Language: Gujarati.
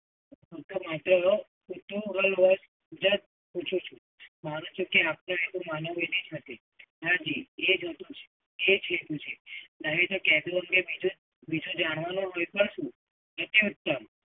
just પૂછું છું. હાં જી એ જુદું છે, એ છેટું છે. નહીં તો કેટલોન્ ને બીજું જાણવાનું મતલબ શું?